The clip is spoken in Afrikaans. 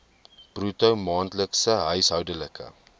bruto maandelikse huishoudelike